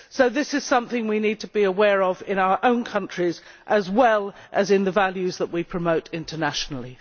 So this is something we need to be aware of in our own countries, as well as in the values that we promote internationally.